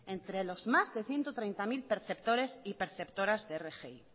entre los más de ciento treinta mil perceptores y perceptoras de rgi